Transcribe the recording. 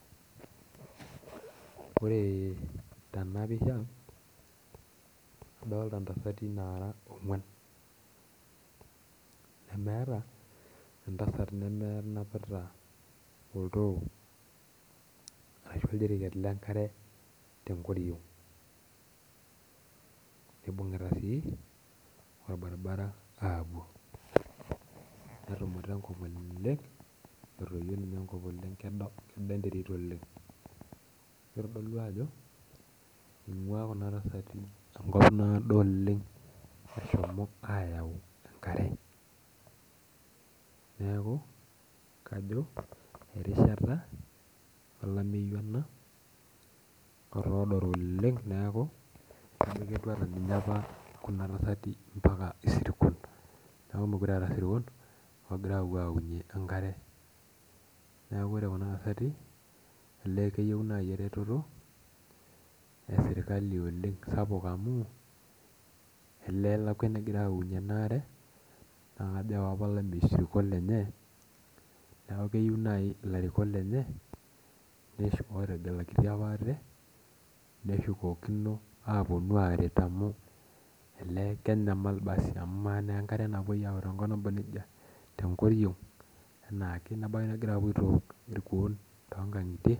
Ore tenapisha, nadolta intasati nara ong'uan. Nemeeta entasat nemenapita oltoo arashu oljiriket lenkare tenkoriong'. Nibung'ita si, orbaribara apuo. Netumuta enkop oleng, entoyio ninye enkop oleng kedo enterit oleng. Kitodolu ajo, ing'ua kuna tasati enkop naado oleng eshomo ayau enkare. Neeku, kajo erishata olameyu ena, otooro oleng neeku ijo ketiu enaa ninye apa kuna tasati mpaka isirkon. Neeku mekure eeta sirkon ogira apuo aunye enkare. Neeku ore kuna tasati elee keyieu nai ereteto, esirkali oleng sapuk amu, elee elakwa enegirai aokunye enaare, na kajo ewa apa olameyu sirkon lenye, neeku keyieu nai ilarikok lenye, neshu lotegelakitia apa ate, neshukokino aponu aret amu elee kenyamal basi amu amaa naa enkare napoi ayau tenkop naba nejia, tenkoriong' enaake, nebaiki negira apuo aitook irkuon tonkang'itie.